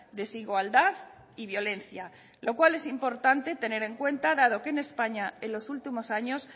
desigualdad y violencia lo cual es importante tener en cuenta dado que en españa en los últimos años